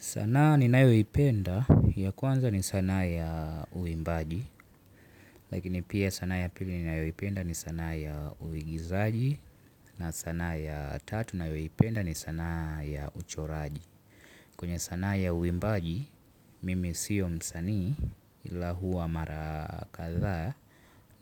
Sanaa ni nayoipenda ya kwanza ni sanaa ya uimbaji. Lakini pia sana ya pili ni ninayoipenda ni sanaa ya uigizaji. Na sanaa ya tatu nayoipenda ni sanaa ya uchoraji. Kwenye sanaa ya uimbaji mimi siyo msanii ila huwa marakadhaa.